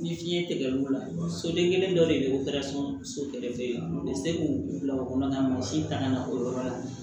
Ni fiɲɛ tigɛr'u la soden kelen dɔ de y'o so se k'o bila o kɔnɔna na mansin tanga na o yɔrɔ la